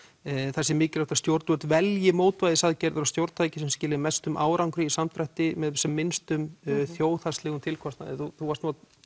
það sé mikilvægt að stjórnvöld velji mótvægisaðgerðir og stjórntæki sem skila mestum árangri í samdrætti með sem minnstum þjóðhagslegum tilkostnaði þú varst nú að